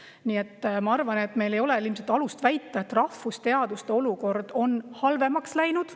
Nii et ma arvan, et meil ei ole ilmselt alust väita, et rahvusteaduste olukord on halvemaks läinud.